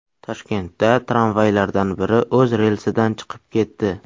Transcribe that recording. Toshkentda tramvaylardan biri o‘z relsidan chiqib ketdi.